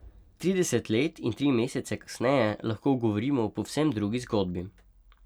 Trideset let in tri mesece kasneje lahko govorimo o povsem drugi zgodbi.